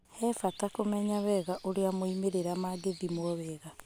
He bata kũmenya wega ũrĩa moimĩrĩra mangĩthimwo wega.